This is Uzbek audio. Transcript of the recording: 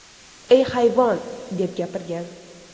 Ey, hayvon!”, deb gapirgan.